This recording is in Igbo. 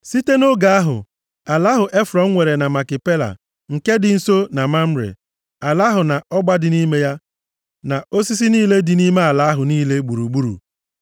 Site nʼoge ahụ, ala ahụ Efrọn nwere na Makipela, nke dị nso na Mamre, ala ahụ na ọgba dị nʼime ya, na osisi niile dị nʼime ala ahụ niile gburugburu,